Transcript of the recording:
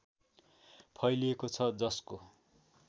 फैलिएको छ जसको